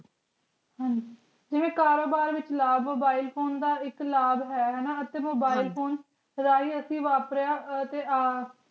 ਕਾਰੋਬਾਰ ਵਿਚ ਲਾਬ mobile phone ਦਾ ਏਇਕ ਲਾਬ ਹੈ mobile phone ਰਹੀ ਅਸੀਂ